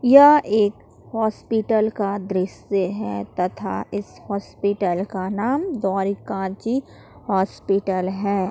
यह एक हॉस्पिटल का दृश्य है तथा इस हॉस्पिटल का नाम द्वारिका जी हॉस्पिटल है।